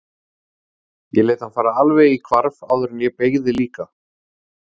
Ég lét hann fara alveg í hvarf áður en ég beygði líka.